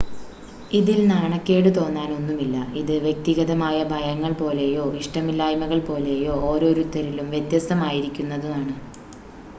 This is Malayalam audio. ഇതിൽ നാണക്കേടുതോന്നാൻ ഒന്നുമില്ല ഇത് വ്യക്തിഗതമായ ഭയങ്ങൾ പോലെയോ ഇഷ്ടമില്ലായ്മകൾ പോലെയോ ഓരോരുത്തരിലും വ്യത്യസ്തമായിരിക്കുന്നതാണ്